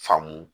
Faamu